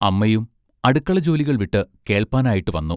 അമ്മയും അടുക്കള ജോലികൾ വിട്ട് കേൾപ്പാനായിട്ട് വന്നു.